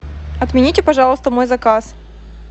отмените пожалуйста мой заказ